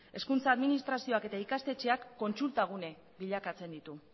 hezkuntza administrazioak eta ikastetxeak kontsulta gune bilakatzen ditu